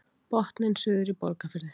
Botninn suður í Borgarfirði